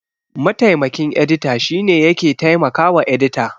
Mataimakin edita shine yake taimakawa edita.